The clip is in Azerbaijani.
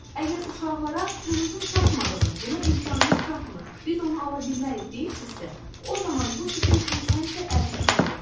əgər uşaqlara pulunuzun çatmadığını, buna imkanınız çatmır, biz onu ala bilmərik deyirsinizsə, o zaman bu sizin üçün həmişə əlçatmaz olacaq.